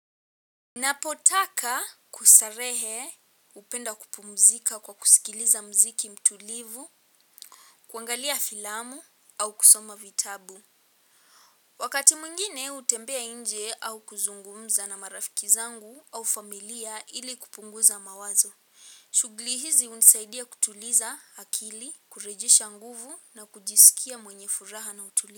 Napotaka kustarehe hupenda kupumzika kwa kusikiliza mziki mtulivu, kuangalia filamu au kusoma vitabu. Wakati mwingine hutembea nje au kuzungumza na marafiki zangu au familia ili kupunguza mawazo. Shugli hizi hunisaidia kutuliza akili, kurejesha nguvu na kujisikia mwenye furaha na utulivu.